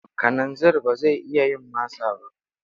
Kananzir ba zai isa yin masa ba.